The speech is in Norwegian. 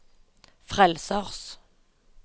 frelsers